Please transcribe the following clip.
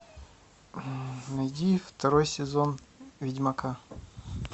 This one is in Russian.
найди второй сезон ведьмака